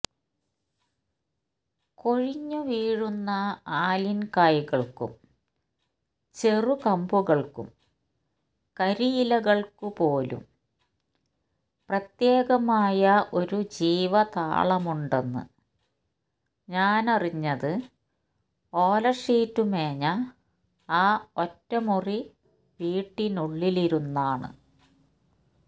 കൊഴിഞ്ഞു വീഴുന്ന ആലിൻകായ്കൾക്കും ചെറുകമ്പുകൾക്കും കരിയിലകൾക്കു പോലും പ്രത്യേകമായ ഒരു ജീവതാളമുണ്ടെന്ന് ഞാനറിഞ്ഞത് ഓലഷീറ്റ് മേഞ്ഞ ആ ഒറ്റമുറി വീട്ടിനുള്ളിലിരുന്നാണ്